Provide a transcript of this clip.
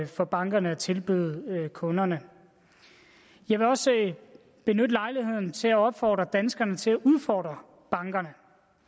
for bankerne at tilbyde kunderne jeg vil også benytte lejligheden til at opfordre danskerne til at udfordre bankerne